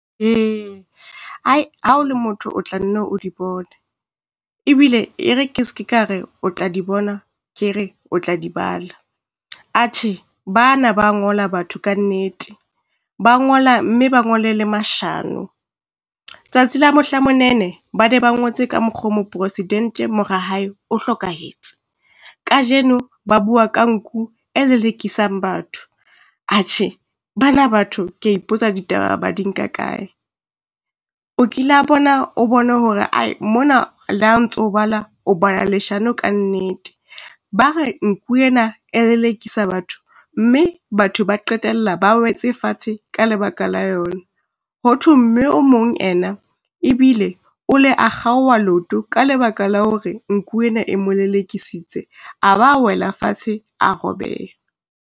Ae ha o le motho o tla nne o di bone, ebile e re ke se ke ka re o tla di bona, ke re o tla di bala. Atjhe, bana ba ngola batho kannete ba ngola mme ba ngole le mashano, tsatsi la mohla monene ba ne ba ngotse ka mokgo moprosidente mora hae o hlokahetse. Kajeno ba bua ka nku e lelekisang batho, atjhe bana batho kea ipotsa ditaba ba di nka kae? O kila bona o bone hore ae mona le ha ntso o bala, o bala leshano kannete. Ba re nku ena e lelekisa batho, mme batho ba qetella ba wetse fatshe ka lebaka la yona. Ho thwe mme o mong ena ebile o le a kgaoha leoto ka lebaka la hore nku ena e mo lelekisitse, a ba wela fatshe, a robeha.